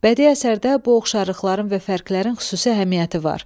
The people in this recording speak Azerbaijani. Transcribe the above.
Bədii əsərdə bu oxşarlıqların və fərklərin xüsusi əhəmiyyəti var.